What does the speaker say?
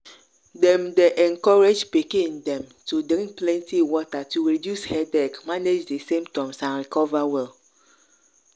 dem dey encourage pikin dem to drink plenty water to reduce headache manage di symptoms and recover well.